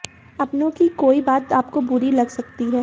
अपनों की कोई बात आपको बुरी लग सकती है